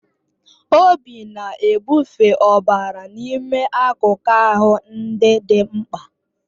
Obi na-ebufe ọbara n'ime akụkụ ahụ ndị dị mkpa